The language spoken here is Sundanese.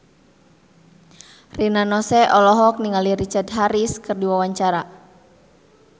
Rina Nose olohok ningali Richard Harris keur diwawancara